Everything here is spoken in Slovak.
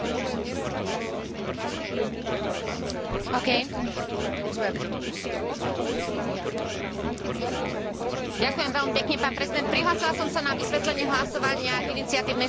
Ďakujem veľmi pekne pán prezident, prihlásila som sa na vysvetlenie hlasovania k iniciatívnej správe Lechner, pretože ju považujem za mimoriadne dôležitú, takže predpokladám, že teraz nasleduje vysvetlenie hlasovania pre správu Lechner, keď ste ma